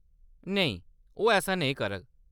नेईं, ओह्‌‌ ऐसा नेईं करङन।